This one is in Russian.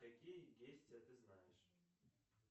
какие действия ты знаешь